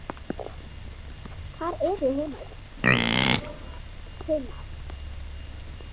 Hvar eru hinar?